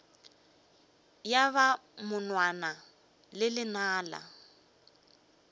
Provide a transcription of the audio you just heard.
ya ba monwana le lenala